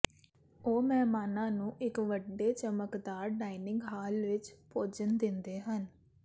ਉਹ ਮਹਿਮਾਨਾਂ ਨੂੰ ਇੱਕ ਵੱਡੇ ਚਮਕਦਾਰ ਡਾਇਨਿੰਗ ਹਾਲ ਵਿੱਚ ਭੋਜਨ ਦਿੰਦੇ ਹਨ